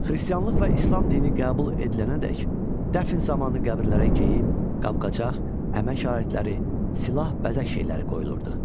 Xristianlıq və İslam dini qəbul edilənədək dəfn zamanı qəbirlərə geyim, qabqacaq, əmək alətləri, silah, bəzək şeyləri qoyulurdu.